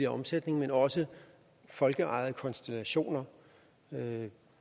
omsætning men at også folkeejede konstellationer